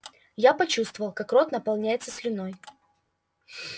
я почувствовал как рот наполняется слюной